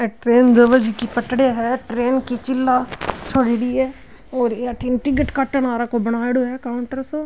अ train भेवे जकी पटरिया है ट्रेन की चिला छोडेडी है और ये अठीन टिकिट काटन आलो को बनायोडो है काउंटर सो।